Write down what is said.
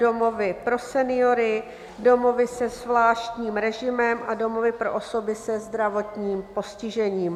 domovy pro seniory, domovy se zvláštním režimem a domovy pro osoby se zdravotním postižením.